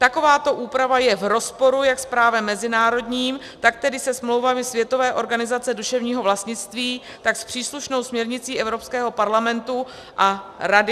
Takováto úprava je v rozporu jak s právem mezinárodním, tak tedy se smlouvami Světové organizace duševního vlastnictví, tak s příslušnou směrnicí Evropského parlamentu a Rady.